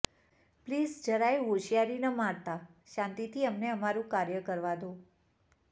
please જરાય હોંશિયારી ન મારતા શાંતિથી અમને અમારું કાર્ય કરવા દો